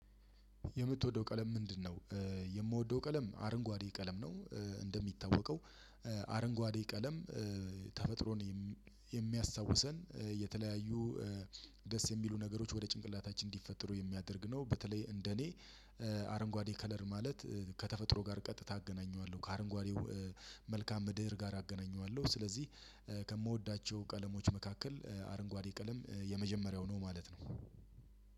የምትወደው ቀለም ምንድነው? የምወደው ቀለም አረንጓዴ ቀለም ነው። እንደሚታወቀው- አረንጓዴ ቀለም ተፈጥሮን የሚያስታውሰን የተለያዩ ደስ የሚሉ ነገሮች ወደ ጭንቅላታችን እንዲፈጥሩ የሚያደርግ ነው። በተለይ እንደኔ- አረንጓዴ ከለር ማለት ከተፈጥሮ ጋር ቀጥታ አገናኘዋለሁ። ከአረንጓዴው መልካም ምድር ጋር አገናኘዋለሁ። ስለዚህ ከምወዳቸው ቀለሞች መካከል አረንጓዴ ቀለም የመጀመሪያው ነው ማለት ነው።